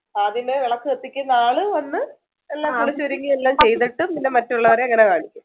അതിന്റെ വിളക്ക് കത്തിക്കുന്ന ആള് വന്ന് എല്ലാം കുളിച്ചൊരുങ്ങി എല്ലാം ചെയ്തിട്ട് പിന്നെ മറ്റുള്ളവരെ അങ്ങനെ കാണിക്കും